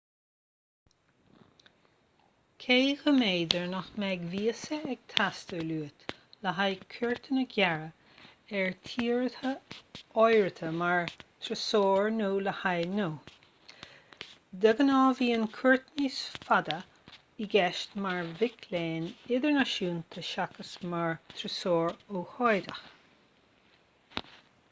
cé go mb'fhéidir nach mbeidh víosa ag teastáil uait le haghaidh cuairteanna gearra ar thíortha áirithe mar thurasóir nó le haghaidh gnó de ghnáth bíonn cuairt níos faide i gceist mar mhic léinn idirnáisiúnta seachas mar thurasóir ócáideach